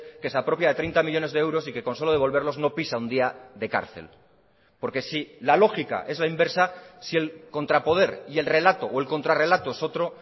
que se apropia de treinta millónes de euros y que con solo devolverlos no pisa un día de cárcel porque si la lógica es la inversa si el contrapoder y el relato o el contrarrelato es otro